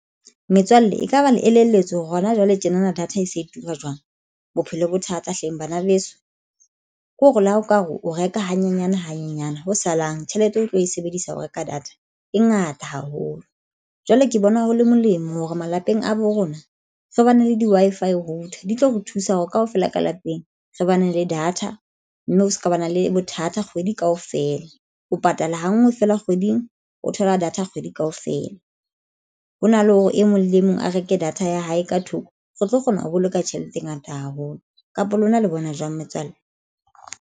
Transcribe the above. Metswalle ekaba le elelletswe hore hona jwale tjenana data e se e etsuwa jwang? Bophelo bo thata hleng bana beso ke hore le ha o ka re o reka hanyenyane hanyenyane ho salang tjhelete o tlo e sebedisa ho reka data e ngata haholo. Jwale ke bona ho le molemo hore malapeng a bo rona re bane le di-Wi-Fi router di tlo re thusa hore kaofela ka lapeng re bane le data mme o se ka ba na le bothata kgwedi kaofela o patalang hangwe fela kgweding o thola data kgwedi kaofela ho na le hore e mong le mong a reke data ya hae ka thoko. Re tlo kgona ho boloka tjhelete e ngata haholo kapa lona le bona jwang metswalle?